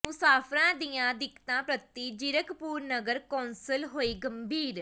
ਮੁਸਾਫ਼ਰਾਂ ਦੀਆਂ ਦਿੱਕਤਾਂ ਪ੍ਰਤੀ ਜ਼ੀਰਕਪੁਰ ਨਗਰ ਕੌਂਸਲ ਹੋਈ ਗੰਭੀਰ